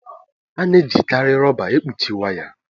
a na-ejikarị rọba èkpuchi waya